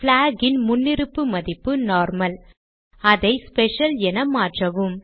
black இன் முன்னிருப்பு மதிப்பு நார்மல் அதை ஸ்பெஷல் என மாற்றவும்